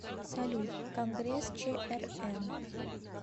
салют конгресс чрн